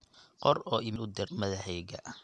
qor oo iimayl u dir madaxayga